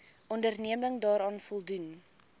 onderneming daaraan voldoen